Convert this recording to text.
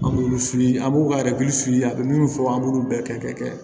An b'olu f'i ye an b'u ka fili a be minnu fɔ an b'olu bɛɛ kɛ